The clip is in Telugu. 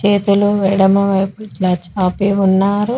చేతులు ఎడమ వైపు చాచి ఆపి ఉన్నారు.